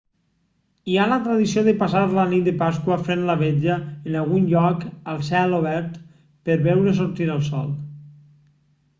hi ha la tradició de passar la nit de pasqua fent la vetlla en algun lloc a cel obert per veure sortir el sol